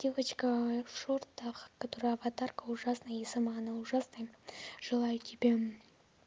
девочка в шортах которую аватарка ужасная и сама она ужасная желаю тебе